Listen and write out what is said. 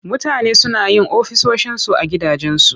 Mutane suna yin ofisoshinsu a gidajensu.